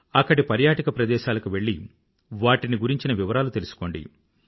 అక్కడి పర్యాటక ప్రదేశాలకు వెళ్ళి వాటిని గురించి వివరాలను తెలుసుకోండి